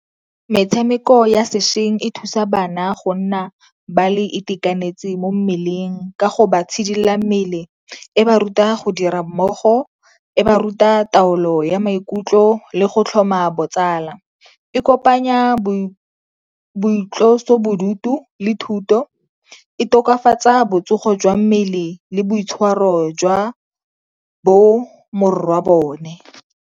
Metshameko ya sešweng e thusa bana go nna ba le itekanetse mo mmeleng ka go ba itshidila mmele, e ba ruta go dira mmogo, e ba ruta taolo ya maikutlo le go tlhoma botsala. E kopanya boitlosobodutu le thuto, e tokafatsa botsogo jwa mmele le boitshwaro jwa bo morwabone.